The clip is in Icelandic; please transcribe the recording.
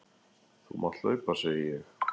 Þú mátt hlaupa, segi ég.